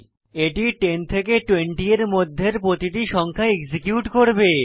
এটি 10 থেকে 20 এর মধ্যের প্রতিটি সংখ্যা এক্সিকিউট করবে